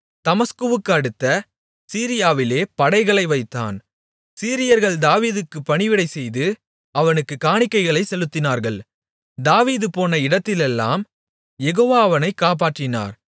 தமஸ்குவுக்கடுத்த சீரியாவிலே படைகளை வைத்தான் சீரியர்கள் தாவீதுக்கு பணிவிடைசெய்து அவனுக்குக் காணிக்கைகளைச் செலுத்தினார்கள் தாவீது போன இடத்திலெல்லாம் யெகோவா அவனைக் காப்பாற்றினார்